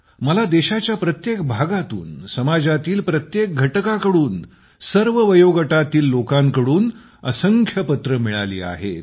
मला देशाच्या प्रत्येक भागातून समाजातील प्रत्येक घटकाकडून सर्व वयोगटातील लोकांकडून असंख्य पत्रे मिळाली आहेत